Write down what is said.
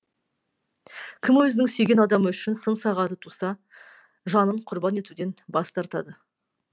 кім өзінің сүйген адамы үшін сын сағаты туса жанын құрбан етуден бас тартады